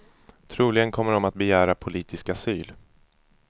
Troligen kommer de att begära politisk asyl.